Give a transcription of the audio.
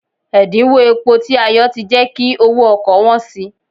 Ẹ̀díńwó epo tí a yọ ti jẹ́ kí owó ọkọ̀ wọ́n si.